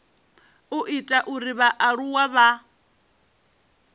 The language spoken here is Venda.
u ita uri vhaaluwa vha